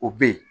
O be yen